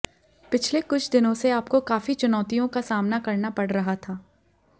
पिछले कुछ दिनों से आपको काफी चुनौतियों का सामना करना पड़ रहा था